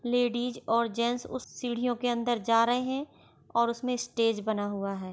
Ladies और gents उस सीढ़ियों के अंदर जा रहे है और उसमें स्टेज बना हुआ है।